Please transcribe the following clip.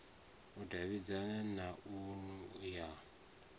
u davhidzana na nnu ya